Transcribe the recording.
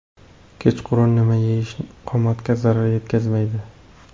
Kechqurun nima yeyish qomatga zarar yetkazmaydi?.